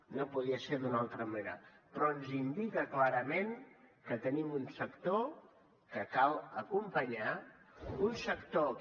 no podia ser d’una altra manera però ens indica clarament que tenim un sector que cal acompanyar un sector que